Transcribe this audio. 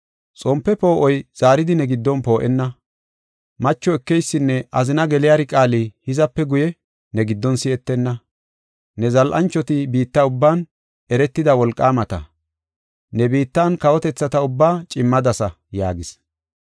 Xompe poo7oy zaaridi ne giddon poo7enna. Macho ekeysinne azina geliyari qaali hizape guye ne giddon si7etenna. Ne zal7anchoti biitta ubban eretida wolqaamata. Ne bitan kawotethata ubbaa cimmadasa” yaagis.